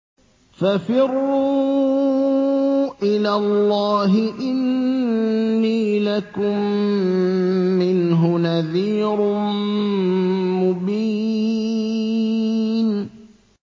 فَفِرُّوا إِلَى اللَّهِ ۖ إِنِّي لَكُم مِّنْهُ نَذِيرٌ مُّبِينٌ